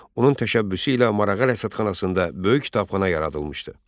Onun təşəbbüsü ilə Marağa rəsədxanasında böyük kitabxana yaradılmışdı.